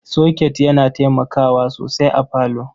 Soket yana taimakawa sosai a parlour.